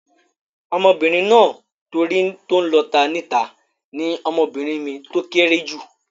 Ọmọbìnrin náà tó rí tó n lọ ata ní ìta ní ọmọbìnrin mi tó kéré jù